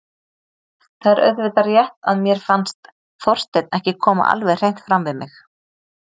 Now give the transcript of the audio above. Það er auðvitað rétt að mér fannst Þorsteinn ekki koma alveg hreint fram við mig.